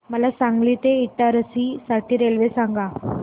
मला सांगली ते इटारसी साठी रेल्वे सांगा